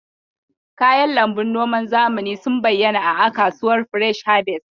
Kayan lambun noman zamani sun bayyana a a kasuwar fresh harvest.